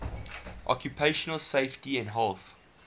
occupational safety and health